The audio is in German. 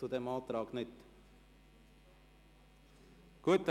– Zu diesem Antrag wünscht er das Wort nicht.